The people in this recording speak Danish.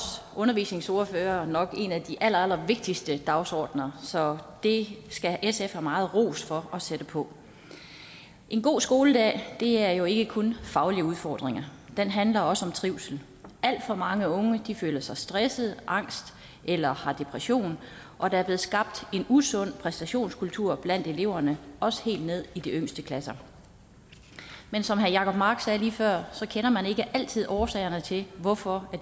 undervisningsordførere nok en af de allerallervigtigste dagsordener så det skal sf have meget ros for at sætte på en god skoledag er jo ikke kun faglige udfordringer den handler også om trivsel alt for mange unge føler sig stressede angste eller har depressioner og der er blevet skabt en usund præstationskultur blandt eleverne også helt ned i de yngste klasser men som herre jacob mark sagde lige før så kender man ikke altid årsagerne til hvorfor